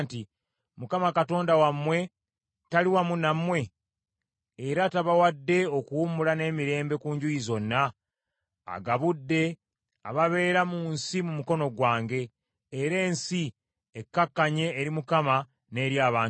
“ Mukama Katonda wammwe tali wamu nammwe? Era tabawadde okuwummula n’emirembe ku njuyi zonna? Agabudde ababeera mu nsi mu mukono gwange, era ensi ekkakkanye eri Mukama n’eri abantu be.